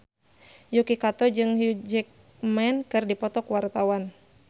Yuki Kato jeung Hugh Jackman keur dipoto ku wartawan